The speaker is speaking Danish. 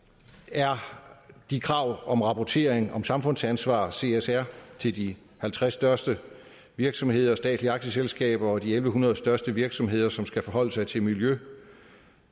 er de krav om rapportering om samfundsansvar csr til de halvtreds største virksomheder og statslige aktieselskaber og de en tusind en hundrede største virksomheder som skal forholde sig til miljø